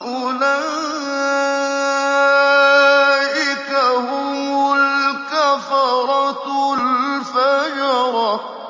أُولَٰئِكَ هُمُ الْكَفَرَةُ الْفَجَرَةُ